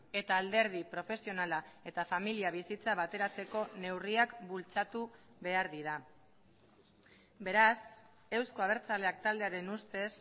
eta alderdi profesionala eta familia bizitza bateratzeko neurriak bultzatu behar dira beraz euzko abertzaleak taldearen ustez